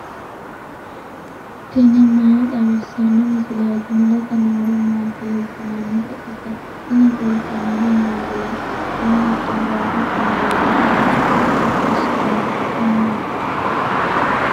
tini maa xawissanno misileeti ? mulese noori maati ? hiissinannite ise ? tini kultannori mattiya? quchummu giddo doogotte mereero beettu gongo'mishshanni? nootti maati?